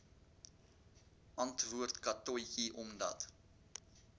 antwoord katotjie omdat